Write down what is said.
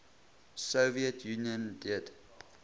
soviet union did